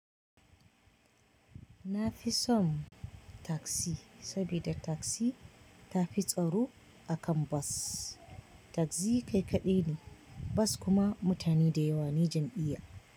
Na fi son tasi, saboda tasi ta fi tsaro akan bos tashi kai kaɗai ne bos kuma ne ne dyawa jam'iyya.